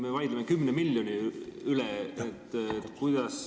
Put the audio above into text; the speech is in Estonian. Me vaidleme siin 10 miljoni üle.